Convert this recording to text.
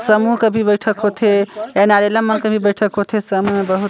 समूह के भी बैठक होथे और नरेला मन के भी बैठक होथे समय मा बहुत --